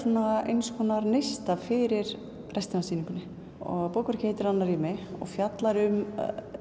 eins konar neista fyrir restina af sýningunni bókverkið heitir annað rými og fjallar um